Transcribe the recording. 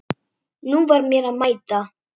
Nú var mér að mæta!